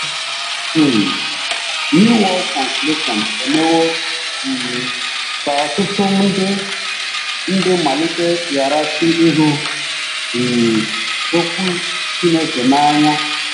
um New World Translation ” emewo um ka ọtụtụ ndị maliteghachi ịhụ um Okwu Chineke n’anya